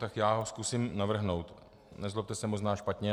Tak já ho zkusím navrhnout, nezlobte se, možná špatně.